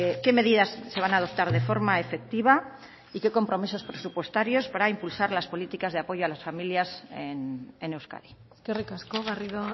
qué medidas se van a adoptar de forma efectiva y qué compromisos presupuestarios para impulsar las políticas de apoyo a las familias en euskadi eskerrik asko garrido